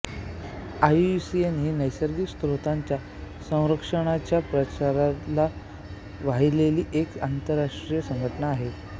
IUCN ही नैसर्गिक स्रोतांच्या संरक्षणाच्या प्रसाराला वाहिलेली एक आंतरराष्ट्रीय संघटना आहे